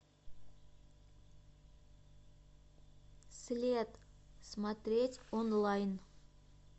след смотреть онлайн